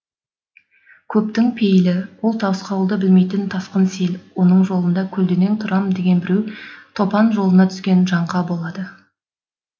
көптің пейілі ол тосқауылды білмейтін тасқын сел оның жолына көлденең тұрам деген біреу топан жолына түскен жаңқа болады